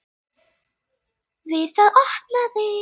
Við það opnaði